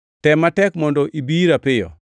Tem matek mondo ibi ira piyo,